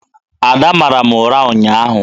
Ada mara m ụra ụnyaahụ.